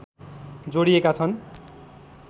जोडिएका छन्